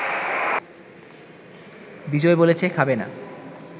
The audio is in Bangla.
বিজয় বলেছে, খাবে না